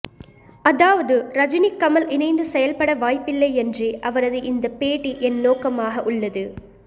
அதாவது ரஜினி கமல் இணைந்து செயல்பட வாய்ப்பில்லை என்றே அவரது இந்த பேட்டி என் நோக்கமாக உள்ளது